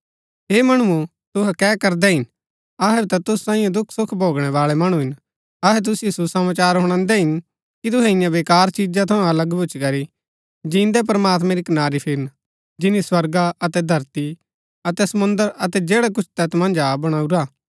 हे मणुओ तुहै कै करदै हिन अहै भी ता तुसु सांईये दुखसुख भोगणै बाळै मणु हिन अहै तुसिओ सुसमाचार हुणादै हिन कि तुहै इन्या वेकार चिजा थऊँ अलग भूच्ची करी जिन्दै प्रमात्मैं री कनारी फिरन जिनी स्वर्गा अतै धरती अतै समुंद्र अतै जैडा कुछ तैत मन्ज हा बणाऊरा